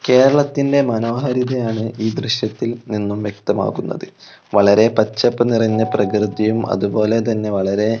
കേരളത്തിന്റെ മനോഹാരിതയാണ് ഈ ദൃശ്യത്തിൽ നിന്നും വ്യക്തമാകുന്നത് വളരെ പച്ചപ്പ് നിറഞ്ഞ പ്രകൃതിയും അതുപോലെതന്നെ വളരെ--